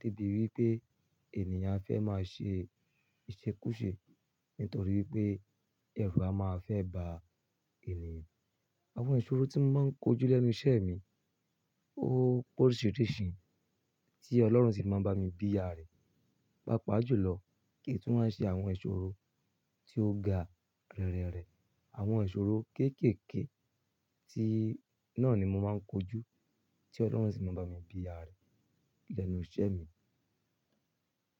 lébi wípé ènìyàn fẹ́ máa ṣe ìṣekúṣe nítorí wípé ẹrù a máa fẹ́ ba ènìyàn. Àwọn ìṣòro tí mo máa ń kojú lẹ́nu iṣẹ́ mi ó pe oríṣìíríṣìí tí Ọlọ́run sì máa ń bá mi bí ààrẹ. Paa pàá jù lọ kí n tu wáa n ṣe àwọn ìṣòro tí ó ga rẹrẹrẹ. Àwọn ìṣòro kéékèèké tí náà ni mo máa ń kojú tí Ọlọ́run sì máa ń bá mi bí ààrẹ lẹ́nu iṣẹ́ mi.